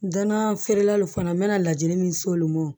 N danna feerelaw fana na n bɛna lajini min se olu ma